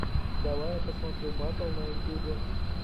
давай я посмотрю батл на ютубе